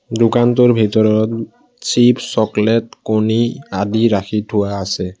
দোকানটোৰ ভিতৰত chip chocolate আদি ৰাখি থোৱা আছে